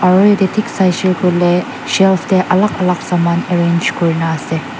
aru yatey thik saishe kuile shelf tey alak alak saman arrange kurina ase.